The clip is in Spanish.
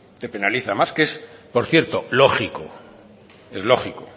te penaliza más que por cierto es lógico